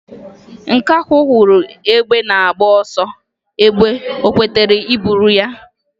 Nkakwụ hụrụ egbe na-agba ọsọ egbe o kwetara iburu ya?